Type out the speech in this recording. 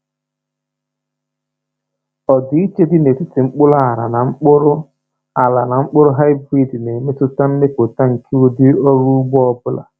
Ọdịiche dị n’etiti mkpụrụ ala na mkpụrụ ala na mkpụrụ hybrid na-emetụta mmepụta nke ụdị ọrụ ugbo ọ bụla.